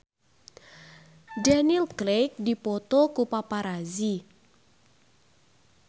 Daniel Craig dipoto ku paparazi